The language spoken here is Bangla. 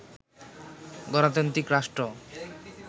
গণতান্ত্রিক রাষ্ট্র